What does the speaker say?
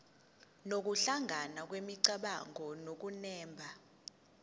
nokuhlangana kwemicabango nokunemba